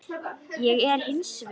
Það er ég hins vegar.